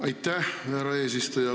Aitäh, härra eesistuja!